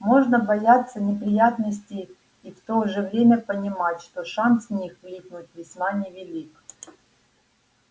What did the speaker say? можно бояться неприятностей и в то же время понимать что шанс в них влипнуть весьма невелик